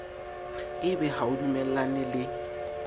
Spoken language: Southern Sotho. ebe ha o dumellane le